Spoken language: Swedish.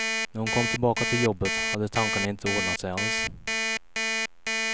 När hon kom tillbaka till jobbet hade tankarna inte ordnat sig alls.